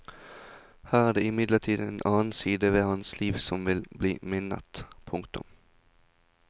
Her er det imidlertid en annen side ved hans liv som vil bli minnet. punktum